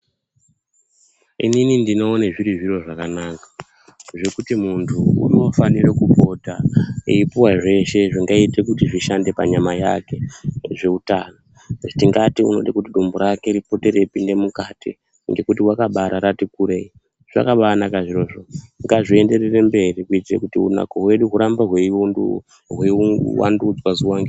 Inini ndinoone zviri zviro zvakanaka zvekuti munhu unofanira kupota eipuwa zveshe zvingaite kuti zvishande panyama yake zveutano. Tingati unode kuti dumbu rake ripote reipinde mukati ngekuti rakabarati kurei. Zvakabanaka zvirozvo . Ngazvienderere mberi kuitire kuti unako hwedu hurambe hweivandudzwa zuwa ngezuwa.